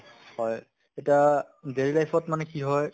হয় এটা daily life ত মানে কি হয়